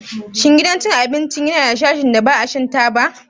Shin gidan cin abinci yana da sashin da ba shan taba ba?